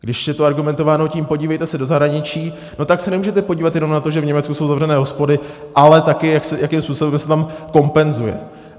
Když je tu argumentováno tím, podívejte se do zahraničí, no tak se nemůžete podívat jenom na to, že v Německu jsou zavřené hospody, ale taky jakým způsobem se tam kompenzuje.